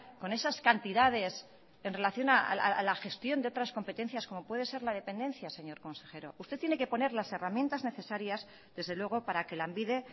con esas cantidades en relación a la gestión de otras competencias como puede ser la dependencia señor consejero usted tiene que poner las herramientas necesarias desde luego para que lanbide